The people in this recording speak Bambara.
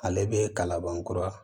Ale bɛ kalaban kura